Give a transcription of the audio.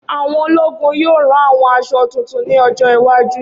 Awọn ologun yoo ran awọn aṣọ tuntun ni ojo iwaju.